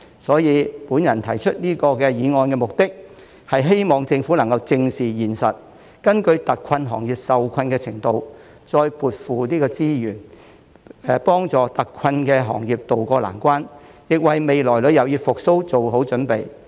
所以，我提出這項議案的目的，是希望政府正視現實，根據特困行業受困的程度，再增撥資源，幫助特困行業渡過難關，亦為未來旅遊業復蘇做好準備。